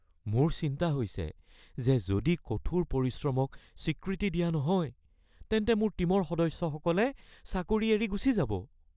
মোৰ চিন্তা হৈছে যে যদি কঠোৰ পৰিশ্ৰমক স্বীকৃতি দিয়া নহয় তেন্তে মোৰ টীমৰ সদস্যসকলে চাকৰি এৰি গুচি যাব।